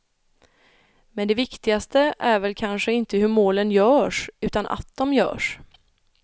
Men det viktigaste är väl kanske inte hur målen görs, utan att de görs.